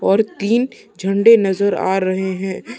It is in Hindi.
और तीन झंडे नज़र आ रहे है।